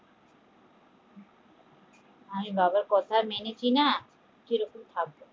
আমি বাবার কথা মেনেছি না